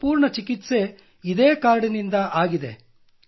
ನನ್ನ ಸಂಪೂರ್ಣ ಚಿಕಿತ್ಸೆ ಅದೇ ಕಾರ್ಡ್ ನಿಂದ ಆಗಿದೆ